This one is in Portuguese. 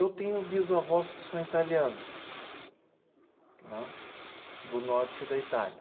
Eu tenho bisavós que são italianos, né? Do norte da Itália.